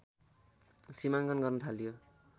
सिमाङ्कन गर्न थाल्यो